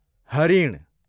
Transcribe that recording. हरिण